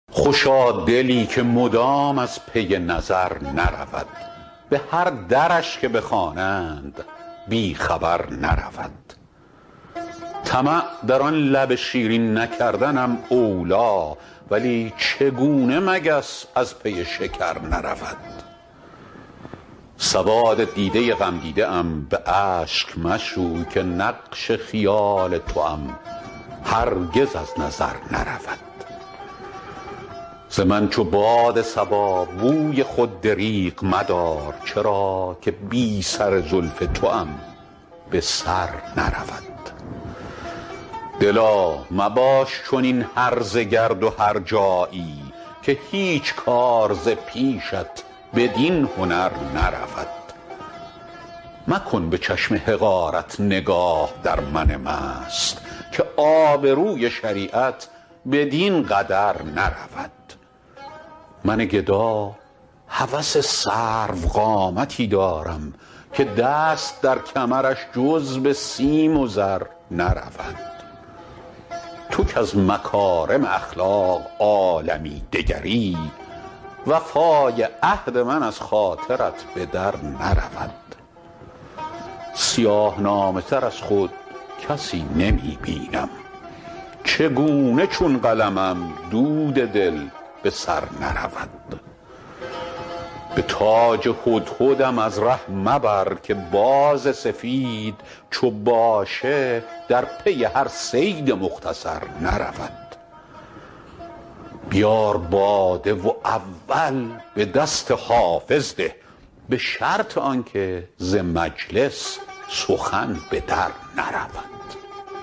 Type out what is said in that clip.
خوشا دلی که مدام از پی نظر نرود به هر درش که بخوانند بی خبر نرود طمع در آن لب شیرین نکردنم اولی ولی چگونه مگس از پی شکر نرود سواد دیده غمدیده ام به اشک مشوی که نقش خال توام هرگز از نظر نرود ز من چو باد صبا بوی خود دریغ مدار چرا که بی سر زلف توام به سر نرود دلا مباش چنین هرزه گرد و هرجایی که هیچ کار ز پیشت بدین هنر نرود مکن به چشم حقارت نگاه در من مست که آبروی شریعت بدین قدر نرود من گدا هوس سروقامتی دارم که دست در کمرش جز به سیم و زر نرود تو کز مکارم اخلاق عالمی دگری وفای عهد من از خاطرت به در نرود سیاه نامه تر از خود کسی نمی بینم چگونه چون قلمم دود دل به سر نرود به تاج هدهدم از ره مبر که باز سفید چو باشه در پی هر صید مختصر نرود بیار باده و اول به دست حافظ ده به شرط آن که ز مجلس سخن به در نرود